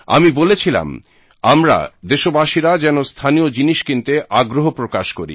আমি বলেছিলাম আমরা দেশবাসীরা যেন স্থানীয় জিনিস কিনতে আগ্রহ প্রকাশ করি